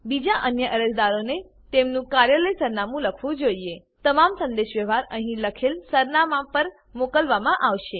બીજા અન્ય અરજદારોએ તેમનું કાર્યાલય સરનામું લખવું જોઈએ તમામ સંદેશવ્યવહાર અહીં લખેલ સરનામા પર મોકલવામાં આવશે